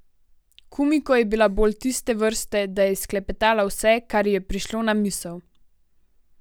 Kumiko je bila bolj tiste vrste, da je izklepetala vse, kar ji je prišlo na misel.